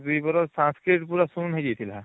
ବାକି ଦୁଇ ବରଷ Sanskrit ପୁରା ଶୂନ ହେଇଯାଇଥିଲା